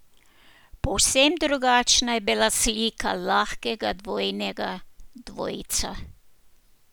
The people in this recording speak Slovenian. Povsem drugačna je bila slika lahkega dvojnega dvojca.